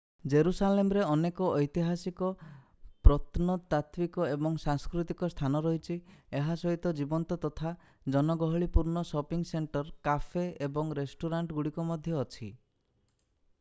ଜେରୁସାଲେମରେ ଅନେକ ଐତିହାସିକ ପ୍ରତ୍ନତାତ୍ଵିକ ଏବଂ ସାଂସ୍କୃତିକ ସ୍ଥାନ ରହିଛି ଏହା ସହିତ ଜୀବନ୍ତ ତଥା ଜନଗହଳିପୂର୍ଣ୍ଣ ସପିଙ୍ଗ୍ ସେଣ୍ଟର କାଫେ ଏବଂ ରେଷ୍ଟୁରାଣ୍ଟ ଗୁଡ଼ିକ ମଧ୍ୟ ଅଛି